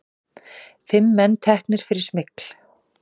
Fimm menn teknir fyrir smygl